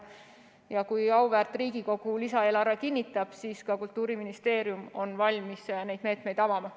Kui auväärt Riigikogu lisaeelarve kinnitab, siis Kultuuriministeerium on valmis neid meetmeid avama.